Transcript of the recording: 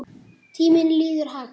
Tíminn líður hægt.